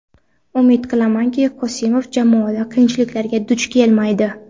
Umid qilamanki, Qosimov jamoada qiyinchiliklarga duch kelmaydi.